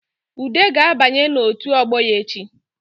Ude ga-abanye n’otu ọgbọ ya echi